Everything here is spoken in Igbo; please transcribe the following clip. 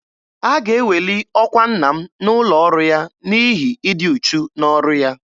A ga-eweli ọkwa nna m n'ụlọ ọrụ ya n'ihi ịdị uchu n'ọrụ ya.